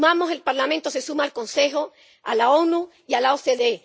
El Parlamento se suma al Consejo, a la ONU y a la OCDE.